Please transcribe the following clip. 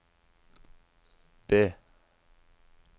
B